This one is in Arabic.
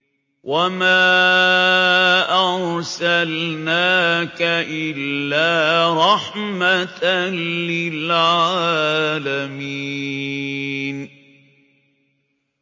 وَمَا أَرْسَلْنَاكَ إِلَّا رَحْمَةً لِّلْعَالَمِينَ